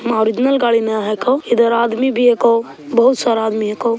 मा ओरिजनल गाड़ी ने हैको इधर आदमी भी हैको बहुत सारा आदमी हैको ।